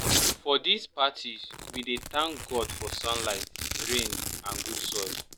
for these parties we dey thank god for sunlight rain and good soil